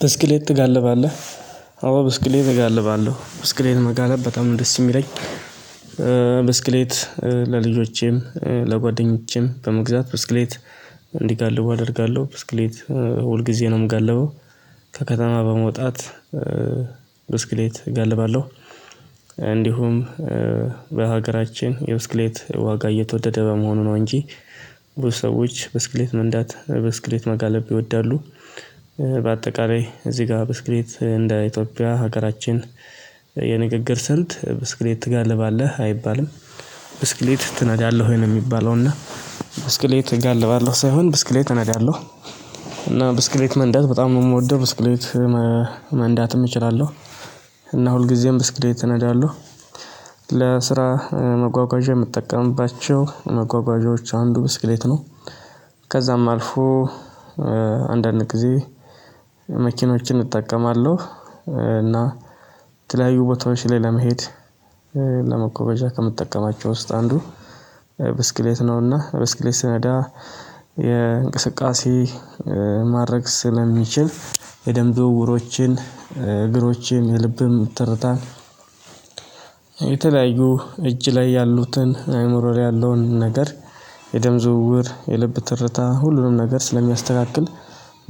ብስክሌት ትጋልባለህ? አዎ ብስክሌት እጋልባለሁ ብስክሌት መጋለብ በጣም ደስ የሚለኝ። ኧ ብስክሌት ኧለልጆቼም ኧ ለጓደኞቼም በመግዛት ብስክሌት እንዲጋልቡ አደርጋለሁ። ብስክሌት ሁል ጊዜ ነው የምጋልበው ከከተማ በመውጣት ብስክሌት እገልባለሁ። እንዲሁም ኧ በሀገራችን የብስክሌት ዋጋ እየተወደደ በመሆኑ ነው እንጂ ብዙ ሰዎች ብስክሌት መንዳት ብስክሌት መጋለብ ይወዳሉ። በአጠቃላይ እዚህ ጋር ብስክሌት እንደ ኢትዮጵያ ሀገራችን የንግግር ስንት ብስክሌት ትጋልባለህ አይባልም። ብስክሌት ትነዳለህ ወይ ነው ሚባለው እና ብስክሌት እጋልባለሁ ሳይሆን ብስክሌት እነዳለሁ። እና ብስክሌት መንዳት በጣም ነው ምወደው ብስክሌት መ መንዳትም እችላለሁ። እና ሁልጊዜም ብስክሌት እነዳለሁ። ለስራ መጓጓዣ የምጠቀምባቸው መጓጓዣዎች አንዱ ብስክሌት ነው። ከዛም አልፎ ኧ አንዳንድ ጊዜ መኪኖችን እጠቀማለሁ። እና የተለያዩ ቦታዎች ላይ ለመሄድ ለመጓጓዣ ከምትጠቀማቸው ውስጥ አንዱ ብስክሌት ነውና ብስክሌት ስነዳ የእንቅስቃሴ ማድረግ ስለሚችል የደም ዝውውሮችን እግሮችን የልብም ትርታን የተለያዩ እጅ ላይ ያሉትን አእምሮ ላይ ያለውን ነገር የደም ዝውውር የልብ ትርታ ሁሉንም ነገር ስለሚያስተካክል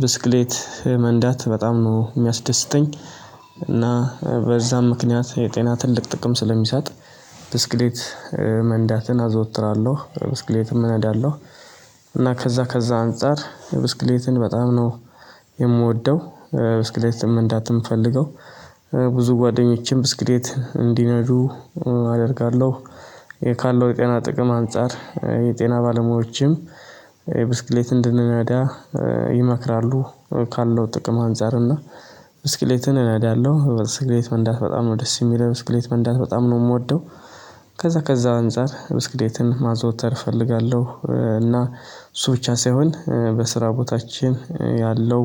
ብስክሌት ኧ መንዳት በጣም ነው ሚያስደስተኝ እና በዛም ምክንያት የጤና ትልቅ ጥቅም ስለሚሳጥ ብስክሌት መንዳትን አዘወትራለሁ ብስክሌትም እነዳለሁ። እና ከዛ ከዛ አንፃር ብስክሌትን በጣም ነው የምወደው ኧ ብስክሌትም መንዳት እምፈልገው ብዙ ጓደኞችም ብስክሌት እንዲነዱ አደርጋለሁ። የ ካለው የጤና ጥቅም አንፃር የጤና ባለሙያዎችም እ ብስክሌት እንድንነዳ ይመክራሉ። ካለው ጥቅም አንፃር እና ብስክሌትን እነዳለሁ ብስክሌት መንዳት በጣም ነው ደስ የሚለው። ብስክሌት መንዳት በጣም ነው የምወደው። ከዛ ከዛ አንፃር ብስክሌትን ማዘውተር እፈልጋለሁ እና እሱ ብቻ ሳይሆን በስራ ቦታችን ያለው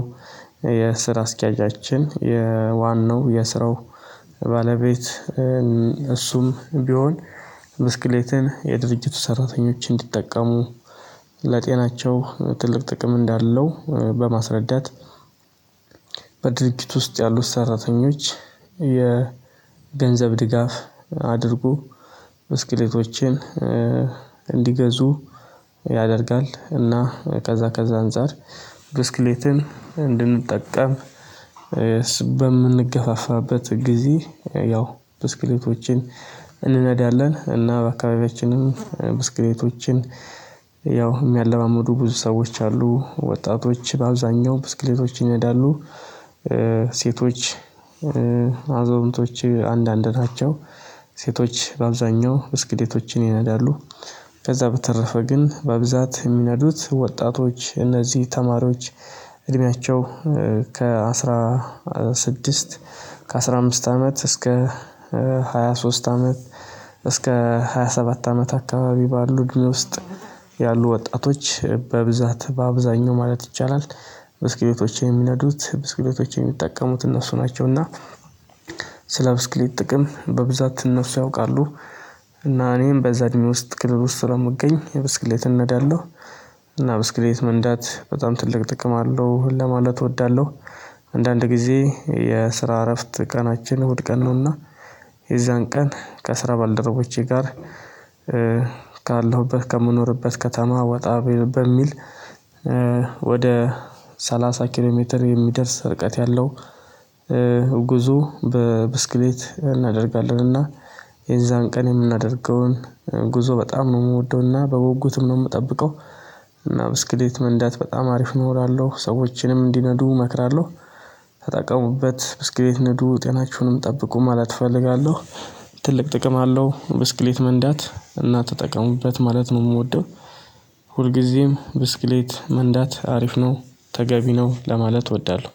የስራ አስኪያጃችን የዋናው የስራው ባለቤት እ እሱም ቢሆን ብስክሌትን የድርጅቱ ሰራተኞች እንዲጠቀሙ ለጤናቸው ትልቅ ጥቅም እንዳለው በማስረዳት በድርጅቱ ውስጥ ያሉት ሰራተኞች የ ገንዘብ ድጋፍ አድርጎ ብስክሌቶችን ኧ እንዲገዙ ያደርጋል እና ከዛ ከዛ አንፃር ብስክሌትን እንድንጠቀም እ ስ በምንገፋፋበት ጊዜ ያው ብስክሌቶችን እንነዳለን። እና በአካባቢያችንም ብስክሌቶችን ያው የሚያለማምዱ ብዙ ሰዎች አሉ። ወጣቶች በአብዛኛው ብስክሌቶች ይነዳሉ። ኧ ሴቶች ኧ አዛውንቶች አንዳንድ ናቸው። ሴቶች በአብዛኛው ብስክዴቶችን ይነዳሉ ከዛ በተረፈ ግን በብዛት የሚነዱት ወጣቶች እነዚህ ተማሪዎች እድሜያቸው ከ16 ከ15 አመት እስከ 23 አመት እስከ ሃያ ሰባት አመት አካባቢ ባሉ እድሜ ውስጥ ያሉ ወጣቶች በብዛት በአብዛኛው ማለት ይቻላል ብስክሌቶችን የሚነዱት ብስክሌቶችን የሚጠቀሙት እነሱ ናቸው እና ስለ ብስክሌት ጥቅም በብዛት እነሱ ያውቃሉ። እና እኔም በዛ እድሜ ውስጥ ክልል ውስጥ ስለምገኝ ብስክሌትን እነዳለሁ እና ብስክሌት መንዳት በጣም ትልቅ ጥቅም አለው ለማለት እወዳለሁ። አንዳንድ ጊዜ የስራ እረፍት ቀናችን ውድ ቀን ነውና የዛን ቀን ከስራ ባልደረቦቼ ጋር ኧ ካለሁበት ከምኖርበት ከተማ ወጣ በ በሚል ኧ ወደ 30 ኪሎ ሜትር የሚደርስ ርቀት ያለው ኧ ጉዞ በብስክሌት እናደርጋለንና የዛን ቀን የምናደርገውን ጉዞ በጣም ነው እምወደውና በጉጉትም ነው እምጠብቀው እና ብስክሌት መንዳት በጣም አሪፍ ነው እላለሁ ሰዎችንም እንዲነዱ እመክራለሁ ተጠቀሙበት ብስክሌት ንዱ ጤናችሁንም ጠብቁ ማለት እፈልጋለሁ ትልቅ ጥቅም አለው ብስክሌት መንዳት እና ተጠቀሙበት ማለት ነው የምወደው ሁልጊዜም ብስክሌት መንዳት አሪፍ ነው ተገቢ ነው ለማለት እወዳለሁ